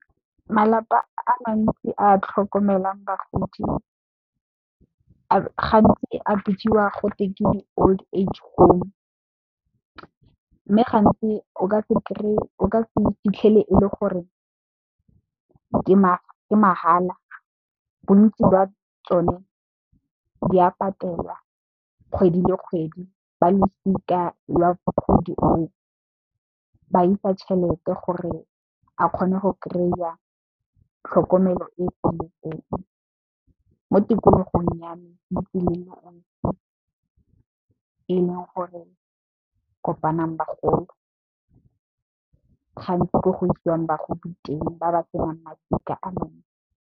Malapa a mantsi a a tlhokomelang bagodi gantsi a bidiwa gotwe ke di Old age home. Mme, gantsi o ka se kry-e e le gore ke mahala bontsi jwa tsone di a patelwa kgwedi le kgwedi ba losika jwa mogodi oo ba isa tšhelete gore a kgone go kry-a tlhokomelo e feletseng mo tikologong ya me e leng gore kopanang bagolo gantsi ko go isiwang bagodi teng ba ba senang masika a mantsi.